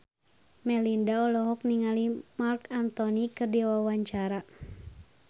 Melinda olohok ningali Marc Anthony keur diwawancara